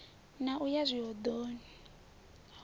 na u ya zwihoḓoni he